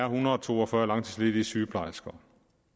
hundrede og to og fyrre langtidsledige sygeplejersker